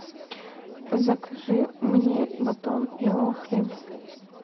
закажи мне батон белого хлеба